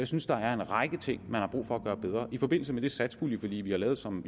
synes der er en række ting man har brug for at gøre bedre i forbindelse med det satspuljeforlig vi har lavet som